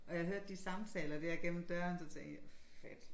Og jeg hørte de samtaler dér gennem døren så tænkte jeg fedt